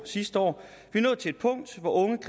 står